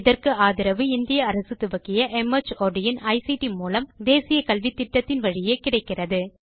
இதற்கு ஆதரவு இந்திய அரசு துவக்கிய மார்ட் இன் ஐசிடி மூலம் தேசிய கல்வித்திட்டத்தின் வழியே கிடைக்கிறது